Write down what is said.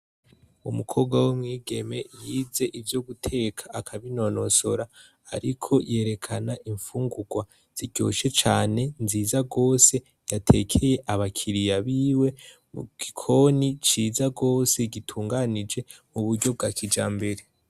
Umukobwa w'u mwigeme yize ivyo guteka akabinonosora ariko yerekana imfungurwa ziryoshe cane nziza gose yatekeye abakiriya biwe mu gikoni ciza gose gitunganije mu buryo bwa kijambere.